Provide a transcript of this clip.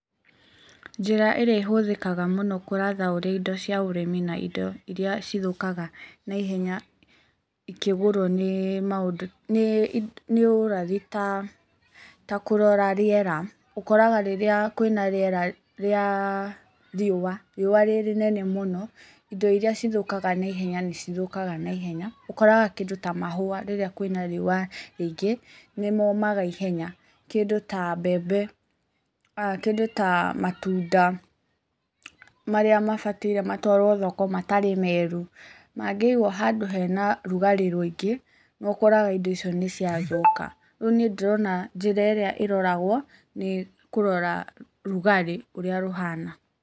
Njĩra ĩrĩa ĩhũthĩkaga mũno kũratha ũraĩ indo cia ũrĩmi na indo iria cithũkaga na ihenya ikĩgũrwo nĩ ũrathi ta kũrora rĩera. Ũkoraga rĩrĩa kũĩna rĩera rĩa riũa, riũa rĩ rĩnene rĩ rĩnene mũno, indo iria cithũkaga na ihenya nĩ cithũkaga na ihenya , ũkoraga kĩndũ ta mahũa rĩrĩa kwĩna riũa rĩingĩ nĩ momaga ihenya, Kĩndũ ta mbembe, kĩndũ ta matunda, marĩa mabatiĩ matwarwo thoko matarĩ meru, mangĩigwo handũ hena rugarĩ rũingĩ nĩ ũkoraga indo icio nĩ cia thũka. Rĩu niĩ ndĩrona njĩra ĩrĩa ĩroragwo nĩ kũrora rugarĩ ũrĩa rũhana.